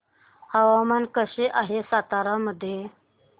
हवामान कसे आहे सातारा मध्ये